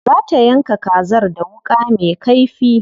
Za ta yanka kazar da wuƙa me kaifi.